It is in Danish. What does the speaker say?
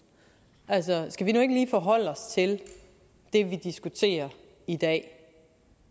skal vi nu ikke lige forholde os til det vi diskuterer i dag